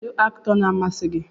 Kedu Aktọ na amasi gi?